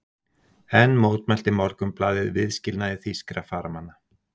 Enn mótmælti Morgunblaðið viðskilnaði þýskra farmanna.